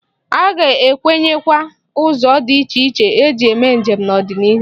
A ga-enwewanye ụzọ dị iche iche eji eme njem n'ọdịnihu.